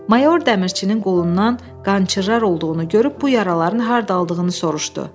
Mayor dəmirçinin qolundan qan çıxar olduğunu görüb bu yaraların hardan aldığını soruşdu.